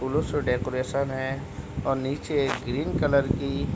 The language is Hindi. फूलों से डेकोरेशन है और नीचे एक ग्रीन कलर की --